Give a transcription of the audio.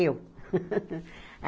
Eu.